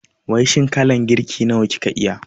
Wai shin kalan girki nawa kika iya?